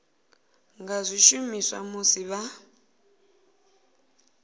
nga zwi shumisa musi vha